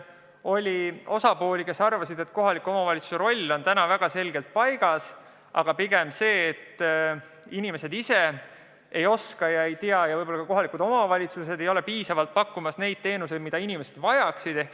Oli neid, kes arvasid, et kohaliku omavalitsuse roll on väga selgelt paigas, aga inimesed ei tea olemasolevaid võimalusi ja kohalikud omavalitsused ei paku piisavalt neid teenuseid, mida inimesed vajaksid.